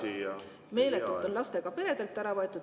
Ühesõnaga, meeletult on lastega peredelt ära võetud.